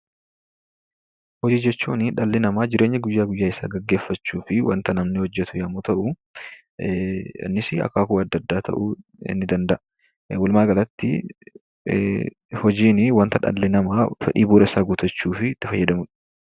Hojii hojjechuunii dhalli namaa jireenya guyyaa guyyaa isaa gaggeeffachuufii wanta namni hojjetu yommuu ta'u, innis akaakuu adda addaa ta'uu ni danda'a. Walumaagalatti, hojiinii wanta dhalli namaa fedhii bu'uura isaa eeggachuufii itti fayyadamu dha.